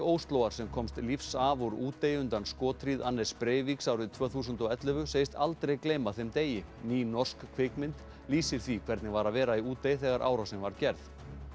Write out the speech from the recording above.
Óslóar sem komst lífs af úr Útey undan skothríð Anders Breiviks árið tvö þúsund og ellefu segist aldrei gleyma þeim degi ný norsk kvikmynd lýsir því hvernig var að vera í Útey þegar árásin var gerð